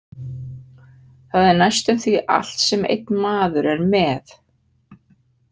Það er næstum því allt sem einn maður er með.